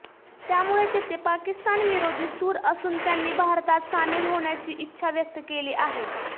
त्यामुळे तेथे पाकिस्तानविरोधी सूर असून त्यांनी भारतात सामील होण्याची इच्छा व्यक्त केली आहे